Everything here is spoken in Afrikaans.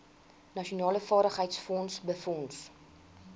nasionale vaardigheidsfonds befonds